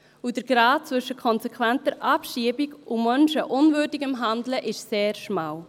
Der Grat zwischen konsequenter Abschiebung und menschenunwürdigem Handeln ist sehr schmal.